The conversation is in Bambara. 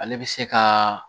Ale bɛ se ka